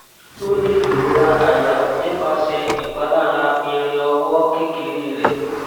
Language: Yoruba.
o ni irora aya nipase ipalara irin owo kekere re